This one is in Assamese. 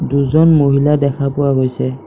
দুজন মহিলা দেখা পোৱা গৈছে।